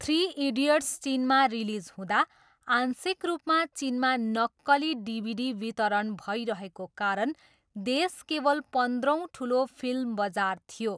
Three Idiots चिनमा release हुँदा, आंशिक रूपमा चिनमा नक्कली डिभिडी वितरण भइरहेको कारण देश केवल पन्ध्रौँ ठुलो फिल्म बजार थियो।